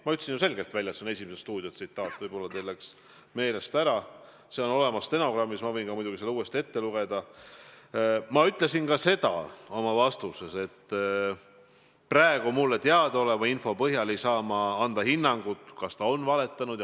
Ma ütlesin ju selgelt välja, et jutt on "Esimeses stuudios" öeldust – võib-olla teil läks meelest ära, aga see on olemas stenogrammis ja ma võin muidugi selle uuesti ette lugeda – ja et ma praegu mulle teadaoleva info põhjal ei saa anda hinnangut, kas ta on valetanud.